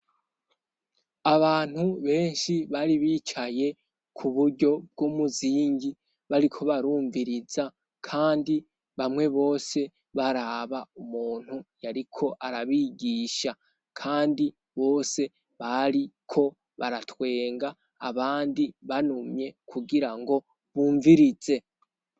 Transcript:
Abantu benshi bari bicaye k'uburyo bw'umuzingi bariko barumviriza kandi bamwe bose baraba umuntu yariko arabigisha kandi bose bariko baratwenga abandi banumye kugirango bumvirize.